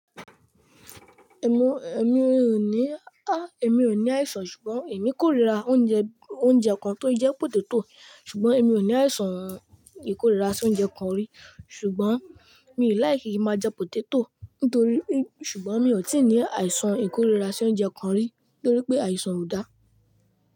Èmi ò ní, èmi ò ní àìsàn ṣùgbọ́n èmi kórira oúnjẹ, oúnjẹ kan tó jẹ́ poteto. Ṣùgbọ́n èmi ò ní àìsàn ìkóríra sí oúnjẹ kan rí. Ṣùgbọ́n mi ò láì kí ń máa jẹ poteto. Nítorí, ṣùgbọ́n mi ò tí ì ní àìsàn ìkóríra sí oúnjẹ kan rí, nítorí pé àìsàn ò dáa.